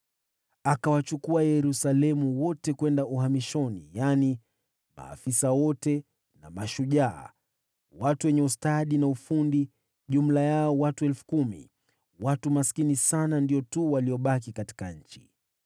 Akawachukua watu wa Yerusalemu wote kwenda uhamishoni: yaani maafisa wote na mashujaa, watu wenye ustadi na ufundi, jumla yao watu elfu kumi. Watu maskini sana ndio tu waliobaki katika nchi.